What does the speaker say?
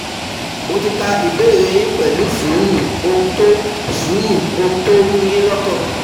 Mo ti ka ìbéèrè yín pẹ̀lú sùúrù ohun tó sùúrù ohun tó ń ru yín lọ́kàn